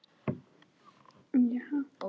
Finn, hvað er á innkaupalistanum mínum?